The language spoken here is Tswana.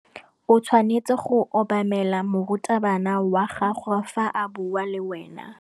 O tshwanetse go obamela morutabana wa gago fa a bua le wena.